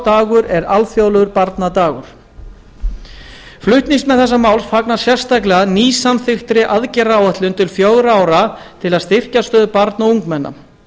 dagur er alþjóðlegur barnadagur flutningsmenn fagna sérstaklega nýsamþykktri aðgerðaráætlun til fjögurra ára til að styrkja stöðu barna og ungmenna